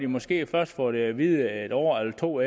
måske først fået det at vide et år eller to